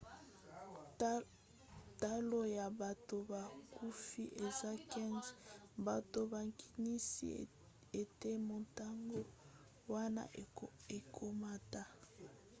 talo ya bato bakufi eza 15 bato bakanisi ete motango wana ekomata